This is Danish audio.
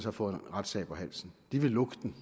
at få en retssag på halsen de vil lukke den